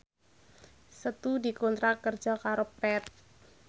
Setu dikontrak kerja karo Path